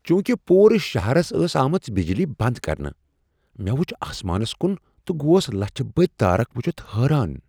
چونکہ پورٕ شہرس ٲس آمٕژ بجلی بند کرنہٕ، مےٚ وُچھ آسمانس کُن تہٕ گوس لچِھہ بٔدۍ تارکھ ؤچھتھ حٲران۔